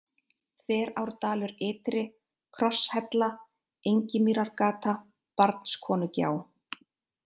Þverárdalur ytri, Krosshella, Engimýrargata, Barnskonugjá